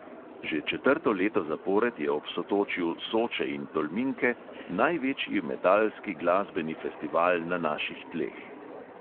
Že četrto leto zapored je ob sotočju soče in tolminke največji metalski glasbeni festival na naših tleh.